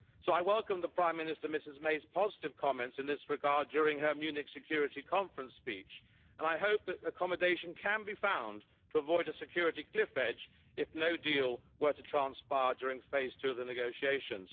So I welcome the Prime Minister, Ms May's positive comments in this regard during her Munich security conference speech and I hope that accommodation can be found to avoid a security cliff edge if no deal were to transpire during phase two of the negotiations.